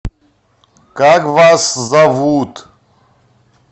как вас зовут